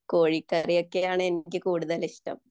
കോഴിക്കറിയൊക്കെയാണ് എനിക്ക് കൂടുതൽ ഇഷ്ടം